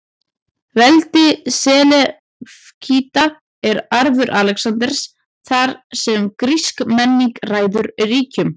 Veldi Selevkída er arfur Alexanders, þar sem grísk menning ræður ríkjum.